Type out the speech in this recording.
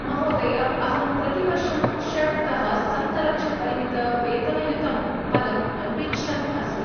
महोदय, अहं प्रतिवर्षं षड्तः सप्तलक्षपरिमितवेतनयुतं पदम् अन्विच्छन् अस्मि।